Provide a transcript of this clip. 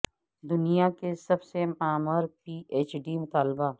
دنیا کی سب سے معمر پی ایچ ڈی طالبہ